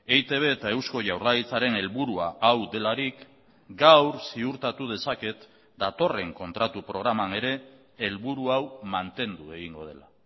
eitb eta eusko jaurlaritzaren helburua hau delarik gaur ziurtatu dezaket datorren kontratu programan ere helburu hau mantendu egingo dela